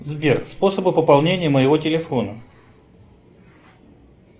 сбер способы пополнения моего телефона